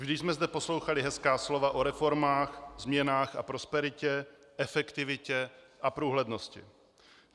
Vždy jsme zde poslouchali hezká slova o reformách, změnách a prosperitě, efektivitě a průhlednosti.